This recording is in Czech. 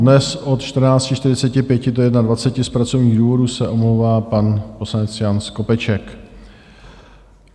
Dnes od 14.45 do 21 z pracovních důvodů se omlouvá pan poslanec Jan Skopeček.